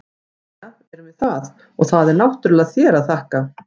Jæja, erum við það, og það er náttúrlega þér að þakka!